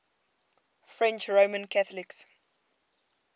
french roman catholics